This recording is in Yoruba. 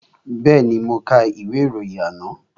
Bẹ́ẹ̀ni, mo ka ìwé ìròyìn àná